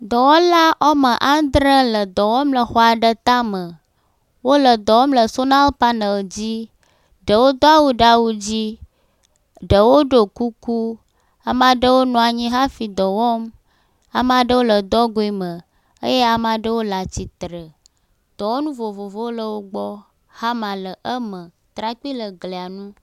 Dɔwɔla woame andre le dɔ wɔm le xɔa ɖe tame. Wole dɔ wɔm le sonal panel dzi. Ɖewo do awu ɖe awu dzii. Ɖewo ɖɔ kukuu. Amea ɖewo bɔbɔ nɔ anyi hafi dɔ wɔm. Amea ɖewo le dɔgui me eye amea ɖewo le atsitre. Dɔwɔnu vovovowo le wo gbɔɔ. Hama le eme. Trakpui le glia ŋu.